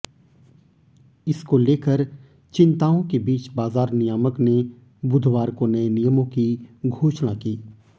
इसको लेकर चिंताओं के बीच बाजार नियामक ने बुधवार को नए नियमों की घोषणा की